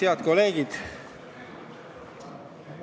Head kolleegid!